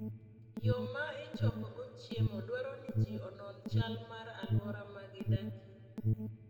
Yo ma ichokogo chiemo dwaro ni ji onon chal mar alwora ma gidakie.